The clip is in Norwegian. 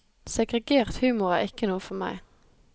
Segregert humor er ikke noe for meg.